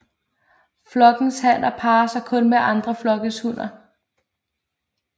Flokkens hanner parrer sig kun med andre flokkes hunner